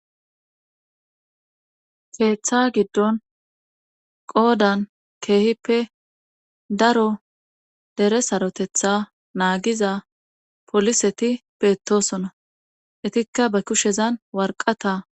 keeththa giddon qoodan keehippe daro dere sarotetha naagiza poliseti beetosona etikka ba kushezan warqata.